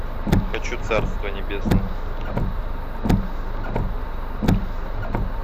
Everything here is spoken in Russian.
хочу царство небесное